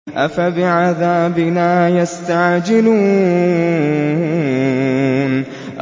أَفَبِعَذَابِنَا يَسْتَعْجِلُونَ